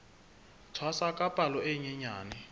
tshwasa ka palo e nyenyane